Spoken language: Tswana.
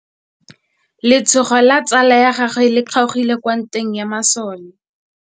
Letsôgô la tsala ya gagwe le kgaogile kwa ntweng ya masole.